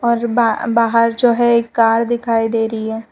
और जो बा बाहर जो है एक कार दिखाई दे रही है।